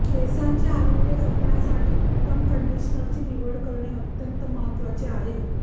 केसांचे आरोग्य जपण्यासाठी उत्तम कंडिशनरची निवड करणे अत्यंत महत्त्वाचे आहे